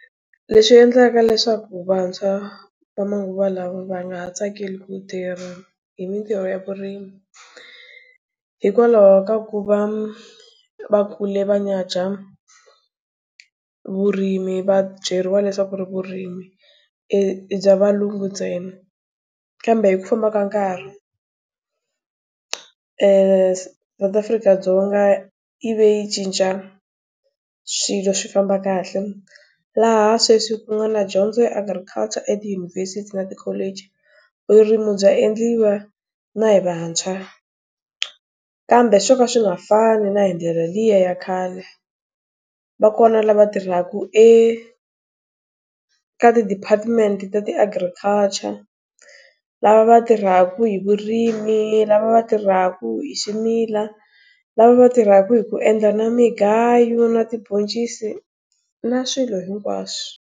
Leswi endlaka leswaku vantshwa, va manguva lawa va nga ha tsakeli ku tirha hi mintirho ya vurimi hikwalaho ka ku va va kule va nyadzha vurimi va byeriwa leswaku ri vurimi i i bya valungu ntsena. Kambe hi ku fambaka nkarhi, eeh South Afrika-dzonga yi ve yi cinca swilo swi famba kahle. Laha sweswi ku nga na dyondzo ya agriculture etiyunivhesiti na tikholeji. Vurimi bya endliwa na hi vantshwa kambe swo ka swi nga fani na hi ndlela liya ya khale. Va kona lava tirhaka eka ti-department-i ta ti-agriculture. Lava va tirhaka hi vurimi, lava va tirhaka hi ximila, lava va tirhaka hi ku endla na mugayo, na tibhoncisi, na swilo hinkwaswo.